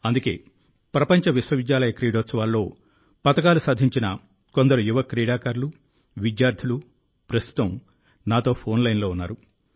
అందుకే ప్రపంచ విశ్వవిద్యాలయ క్రీడోత్సవాల్లో పతకాలు సాధించిన కొందరు యువ క్రీడాకారులు విద్యార్థులు ప్రస్తుతం నాతో ఫోన్లైన్లో ఉన్నారు